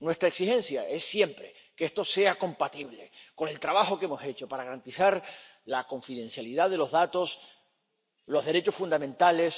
Nuestra exigencia es siempre que esto sea compatible con el trabajo que hemos hecho para garantizar la confidencialidad de los datos, los derechos fundamentales.